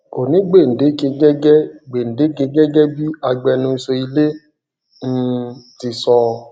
kò ní gbèǹdéke gẹgẹ gbèǹdéke gẹgẹ bí agbẹnusọ ilé um ti sọ